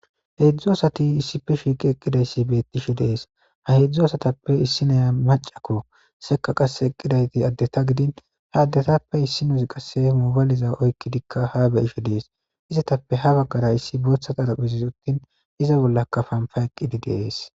Heedzdzu asati issipe shiiqi eqqidayssi beettishe dees ha heedzdzu asatappe issi naya macako seka qasse eqqidayti addeta gidin ha addetappe issi nusi qasse mubaliza oykki dikka ha beyishe dees izatappe ha baggara issi booththa xaraphizis uttin iza bollaka panfa eqqidi deees